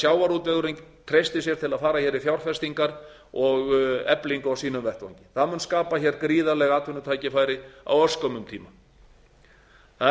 sjávarútvegurinn treystir til að fara í fjárfestingar og eflingu á sínum vettvangi það mun skapa gríðarleg atvinnutækifæri á örskömmum tíma það er hægt